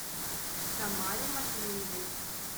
тамаре матвеевой